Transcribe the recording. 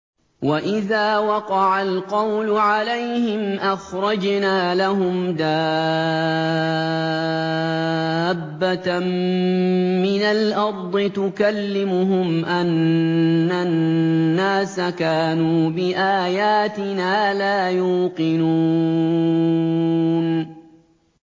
۞ وَإِذَا وَقَعَ الْقَوْلُ عَلَيْهِمْ أَخْرَجْنَا لَهُمْ دَابَّةً مِّنَ الْأَرْضِ تُكَلِّمُهُمْ أَنَّ النَّاسَ كَانُوا بِآيَاتِنَا لَا يُوقِنُونَ